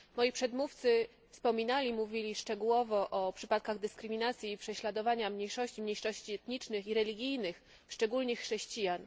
Moi przedmówcy wspominali, mówili szczegółowo o przypadkach dyskryminacji i prześladowania mniejszości mniejszości etnicznych i religijnych, szczególnie chrześcijan.